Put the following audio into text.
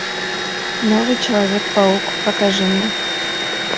новый человек паук покажи мне